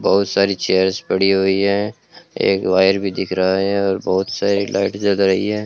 बहुत सारी चेयर्स पड़ी हुई है एक वायर भी दिख रहा है और बहुत सारी लाइट जल रही है।